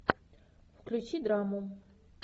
включи драму